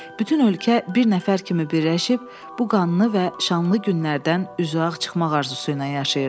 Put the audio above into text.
Bütün ölkə bir nəfər kimi birləşib bu qanlı və şanlı günlərdən üzüağ çıxmaq arzusu ilə yaşayırdı.